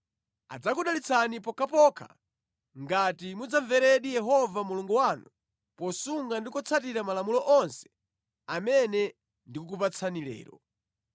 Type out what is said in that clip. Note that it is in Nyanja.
Adzakudalitsani pokhapokha ngati mudzamveradi Yehova Mulungu wanu posunga ndi kutsatira malamulo onse amene ndikukupatsani lero.